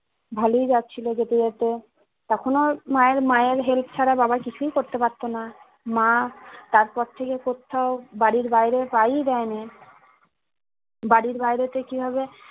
ভালোই যাচ্ছিলো যেতে যেতে তখন মায়ের মায়ের help ছাড়া বাবা কিছু করতে পারতোনা মা তারপরথেকে কোত্থাও বাড়ির বাইরে পা ই দায়নে বাড়ির বাইরেতে কিভাবে